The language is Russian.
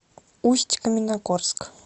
усть каменогорск